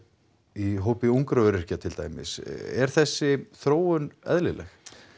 í hópi ungra öryrkja til dæmis er þessi þróun eðlileg